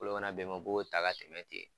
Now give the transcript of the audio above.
Bolo mana bɛn o ma u b'o ta ka tɛmɛ ten